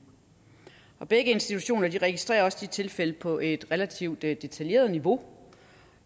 begge institutioner registrerer også de tilfælde på et relativt detaljeret niveau